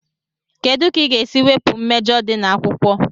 kedu ka ị ga-esi wepụ mmejọ di na akwụkwọ?